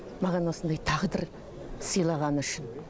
маған осындай тағдыр сыйлағаны үшін